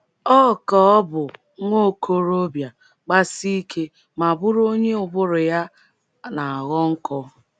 Ọ ka bụ nwa okorobịa, gbasie ike, ma bụrụ onye ụbụrụ na - aghọ nkọ.